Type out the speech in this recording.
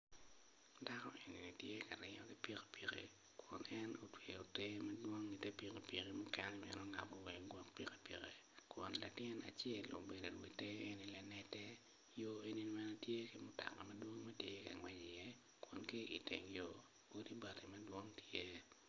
Dako eni tye ka ringo ki pikipiki ma gin otweyo te madwong ite pikipiki mukene bene ongabo wa ingut pikipiki kun latin acel obedo i nge te yo eni bene tye ki mutoka madwong tye ka ngwec i iye kun ki iteng yo odi bati madwong tye iye